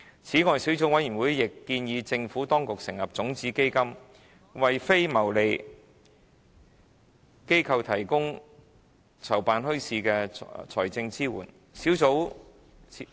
此外，小組委員會亦建議政府當局成立種子基金，為非牟利機構提供籌辦墟市的財政支援。